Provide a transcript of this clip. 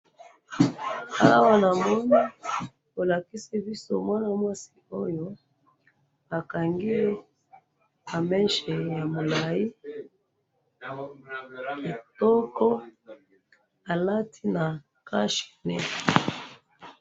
awa na moni bo lalkisi biso mwana mwasi oyo ba kangiye ba mechet ya mulayi ya kitoko a lati na cache nez